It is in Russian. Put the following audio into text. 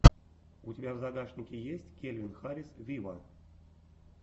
у тебя в загашнике есть кельвин харрис виво